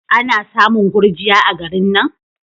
Ana samun gurjiya a garin nan?